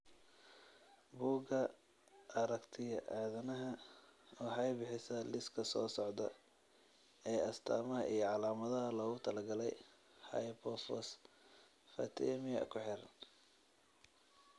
Bugga Aartigaya aadanaha waxay bixisaa liiska soo socda ee astamaha iyo calaamadaha loogu talagalay hypophosphatemia ku xiran.